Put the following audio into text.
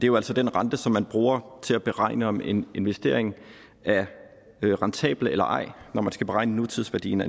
jo altså den rente som man bruger til at beregne om en investering er rentabel eller ej når man skal beregne nutidsværdien